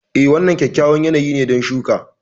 Eh, wannan kyakkyawan yanayi ne don shuka.